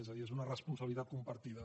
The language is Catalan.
és a dir és una responsabilitat compartida